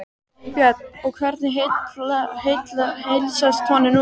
Björn: Og hvernig heilsast honum núna?